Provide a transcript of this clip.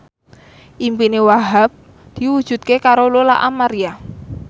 impine Wahhab diwujudke karo Lola Amaria